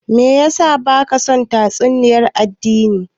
Me yasa baka son tatsuniya addini?